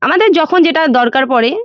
আমাদের যখন যেটার দরকার পরে।